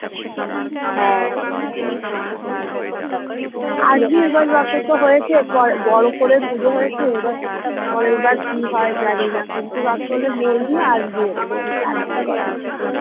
হ্যাঁ বড় করে পুজো হয়েছে এবার পরেরবার কি হয় জানিনা কিন্তু বলবি আসবি এবং আমাদের বাড়ি থাকবি কদিন`